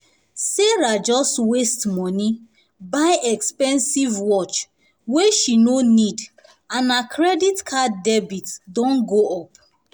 sarah just waste um money buy expensive wristwatch wey she no need and her credit card debt um don um go up